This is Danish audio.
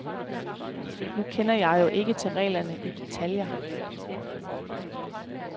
Nu kender jeg jo ikke til reglerne i detaljer.